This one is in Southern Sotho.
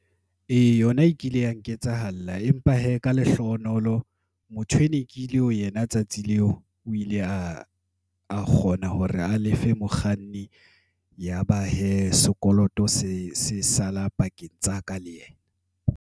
Ee, yona e kile ya nketsahallang. Empa hee ka lehlohonolo, motho ene ke ile ho yena tsatsi leo, o ile a kgona hore a lefe mokganni. Yaba hee sekoloto se sala pakeng tsa ka le yena.